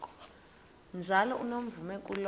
njalo unomvume kuloko